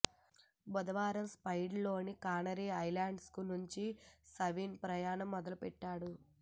బుధవారం స్పెయిన్లోని Canary Islands నుంచి సవిన్ ప్రయాణం మొదలుపెట్టాడు